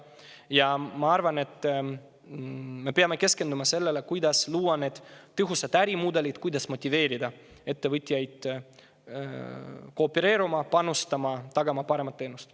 Ja ma arvan, et me peame keskenduma sellele, kuidas luua need tõhusad ärimudelid, kuidas motiveerida ettevõtjaid koopereeruma, panustama ja tagama parema teenuse.